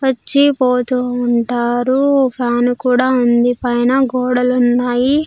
వచ్చి పోతూ ఉంటారు ఫ్యాన్ కూడా ఉంది పైన గోడలు ఉన్నాయి.